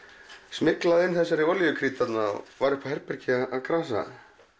smyglaði inn þessari olíukrít og var upp á herbergi að krassa